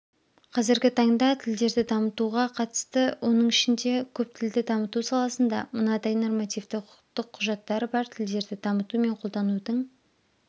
қазіргі таңда тілдерді дамытуға қатысты оның ішінде көптілді дамыту саласында мынадай нормативті құқықтық құжаттар бар тілдерді дамыту мен қолданудың